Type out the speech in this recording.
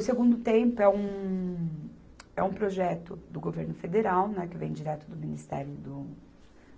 O Segundo Tempo é um, é um projeto do governo federal, né, que vem direto do Ministério do,